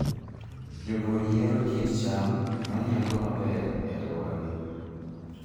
Jopur yiero kit cham ma nyago maber e alworagi.